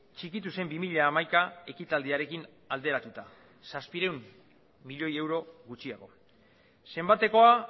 txikitu zen bi mila hamaika ekitaldiarekin alderatuta zazpiehun milioi euro gutxiago zenbatekoa